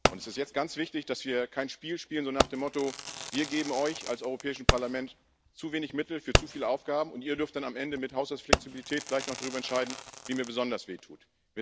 Es ist jetzt ganz wichtig, dass wir kein Spiel spielen, so nach dem Motto Wir geben euch als Europäischem Parlament zu wenig Mittel für zu viele Aufgaben, und ihr dürft dann am Ende mit Haushaltsflexibilität vielleicht noch darüber entscheiden, wem ihr besonders wehtut.